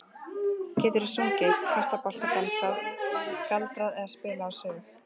Geturðu sungið, kastað bolta, dansað, galdrað eða spilað á sög?